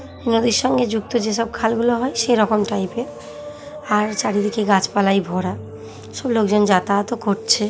নদীর সঙ্গে যুক্ত যেসব খালগুলো হয় সে রকম টাইপের । আর চারিদিকে গাছ পালায় ভরা। সব লোকজন যাতায়াত ও করছে।